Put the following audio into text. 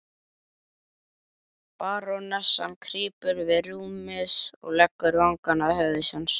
Barónessan krýpur við rúmið og leggur vangann að höfði hans.